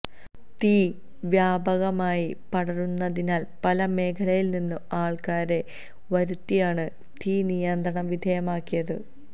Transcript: തീ വ്യാപകമായി പടരുന്നതിനാല് പല മേഖലയില്നിന്ന് ആള്ക്കാരെ വരുത്തിയാണ് തീ നിയന്ത്രണ വിധേയമാക്കിയത്